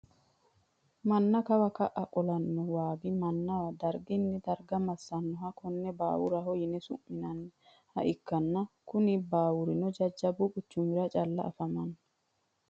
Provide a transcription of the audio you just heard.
Mana kawa ka`a qolano wogi manna darguni darga masanoha konne baawuraho yine su`minaniha ikanna kuni baawurino jajabbu quchumira calla afamano.